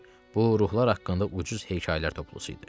Bu ruhlar haqqında ucuz hekayələr toplusu idi.